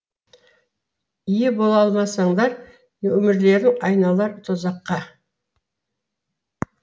ие бола алмасаңдар өмірлерің айналар тозаққа